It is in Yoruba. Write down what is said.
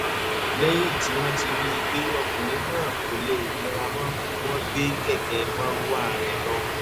lẹ́yìn tí wọ́n rí i pé ọkùnrin náà kò lè mira mọ́ ni wọ́n gbé kẹ̀kẹ́ marwa rẹ̀ lọ